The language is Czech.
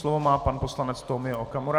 Slovo má pan poslanec Tomio Okamura.